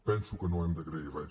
penso que no hem d’agrair res